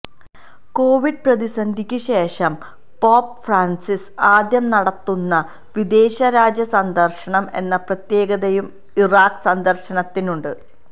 Covid പ്രതിസന്ധിക്ക് ശേഷം Pope Francis ആദ്യം നടത്തുന്ന വിദേശ രാജ്യ സന്ദര്ശനം എന്ന പ്രത്യേകതയും ഇറാഖ് സന്ദര്ശനത്തിനുണ്ട്